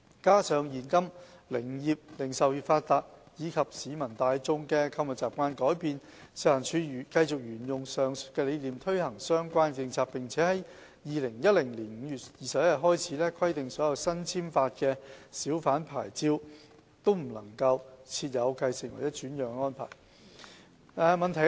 加上現今零售業發達及市民大眾的購物習慣改變，食環署繼續沿用上述理念推行相關政策，並自2010年5月21日開始，規定所有新簽發的小販牌照均不設繼承或轉讓安排。